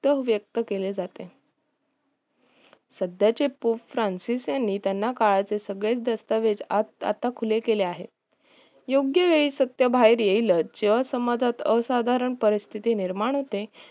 व्यक्त केले जाते सध्याचे पोप फ्रान्सीस यांनी त्यांना काळातील सगळेच दस्तावेज आता खुले केले आहे योग्य वेळी सत्य बाहेर येईलच जेव्हा समाजात असाधारण परस्तिथी निर्माण होते